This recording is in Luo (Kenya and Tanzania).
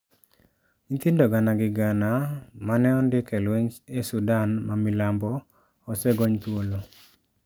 Nyithindo gana gi gana ma ne ondik e lweny e Sudan mamilambo osegony thuolo